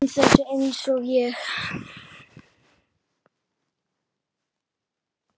Þú venst þessu einsog ég.